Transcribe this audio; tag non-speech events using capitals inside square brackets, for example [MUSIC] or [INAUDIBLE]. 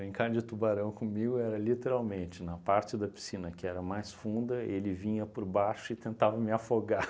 de tubarão comigo era literalmente, na parte da piscina que era mais funda, ele vinha por baixo e tentava me [LAUGHS] afogar.